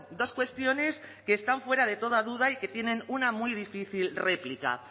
dos cuestiones que están fuera de toda duda y que tienen una muy difícil réplica